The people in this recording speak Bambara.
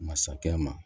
Masakɛ ma